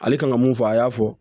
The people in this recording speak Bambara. Ale kan ka mun fɔ a y'a fɔ